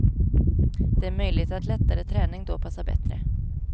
Det är möjligt att lättare träning då passar bättre.